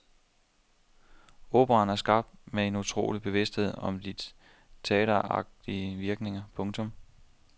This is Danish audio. Operaen er skabt med en utrolig bevidsthed om de teateragtige virkninger. punktum